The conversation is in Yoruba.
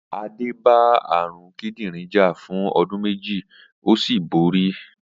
Adé bá àrùn kídìrin jà fún o̩dún méjì ó sì borí